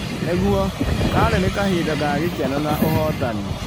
Nĩguo, karĩ nĩ kahinda ga gĩkeno na ũhotani.